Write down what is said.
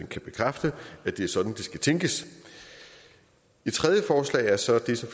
kan bekræfte at det er sådan det skal tænkes et tredje forslag er så det